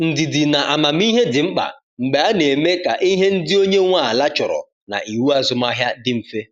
Ndidi na amamihe dị mkpa mgbe a na-eme ka ihe ndị onye nwe ala chọrọ na iwu azụmahịa dị mfe.